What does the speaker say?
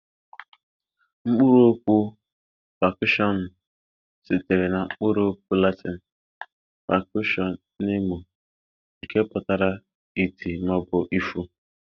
Mkpụrụ okwu pakushọnụ sitere na mkpụrụ okwu Latịnụ pakushọnemụ nke putara iti ma obu ịfụ.